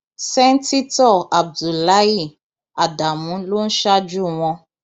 sẹńtítọ abdullahi ádámù ló ń ṣáájú wọn